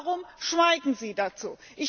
Warum schweigen Sie dazu?